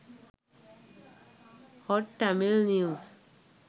hot tamil news